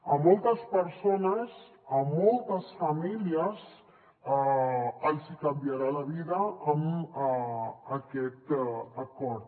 a moltes persones a moltes famílies els hi canviarà la vida amb aquest acord